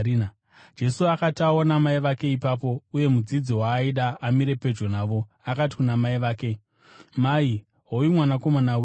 Jesu akati aona mai vake ipapo, uye mudzidzi waaida amire pedyo navo, akati kuna mai vake, “Mai, hoyu mwanakomana wenyu,”